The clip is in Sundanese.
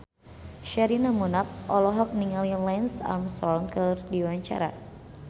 Sherina Munaf olohok ningali Lance Armstrong keur diwawancara